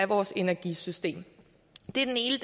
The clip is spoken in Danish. vores energisystem det er den ene